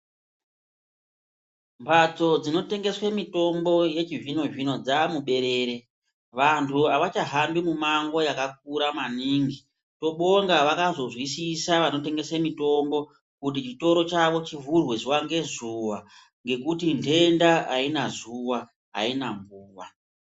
Mbatso dzinotengeswe mitombo yechizvino zvino dzamuberere. Vantu havachahambi mumango yakakura maningi. Tinobonga vakazozwisisa vanotengese mitombo kuti chitoro chavo chivhurwe zuva ngezuva ngekuti ndenda haina zuwa, haina nguwa.